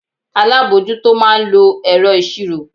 Alábojútó máa ń lo ẹ̀rọ ìṣirò.